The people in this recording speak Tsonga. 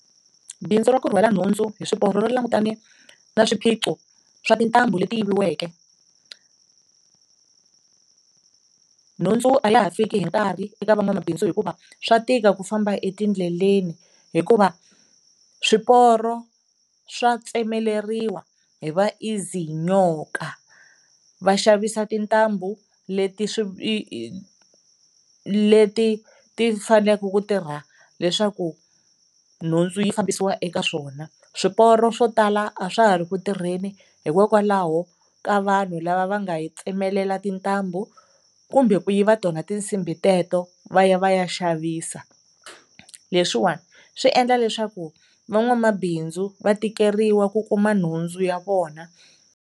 Bindzu ra ku rhwala nhundzu hi swiporo ri langutane na swiphiqo swa tintambu leti yiviweke. Nhundzu a ya ha fiki hi nkarhi eka van'wamabindzu hikuva swa tika ku famba etindleleni hikuva swiporo swa tsemeleriwa hi va izinyoka, va xavisa tintambu leti leti ti faneleke ku tirha leswaku nhundzu yi fambisiwa eka swona. Swiporo swo tala a swa ha ri ku tirheni hikokwalaho ka vanhu lava va nga yi tsemelela tintambu kumbe ku yiva tona tinsimbhi teto va ya va ya xavisa, leswiwani swi endla leswaku van'wamabindzu va tikeriwa ku kuma nhundzu ya vona.